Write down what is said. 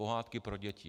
Pohádky pro děti.